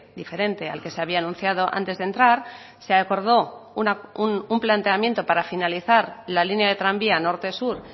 diferente al que se había anunciado antes de entrar se acordó un planteamiento para finalizar la línea de tranvía norte sur